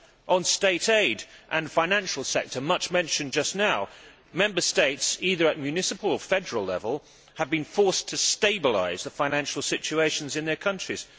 On state aid and the financial sector much mentioned just now Member States, either at municipal or federal level, have been forced to stabilise the financial situations in their countries.